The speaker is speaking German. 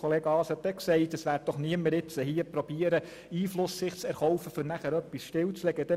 Grossrat Haas hat auch gesagt, es werde niemand versuchen, sich Einfluss zu erkaufen, um danach etwas stillzulegen.